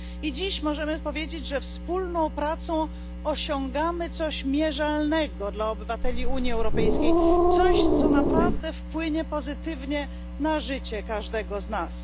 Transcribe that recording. Dziś możemy powiedzieć, że wspólną pracą osiągamy coś mierzalnego dla obywateli Unii Europejskiej, coś, co naprawdę wpłynie pozytywnie na życie każdego z nas.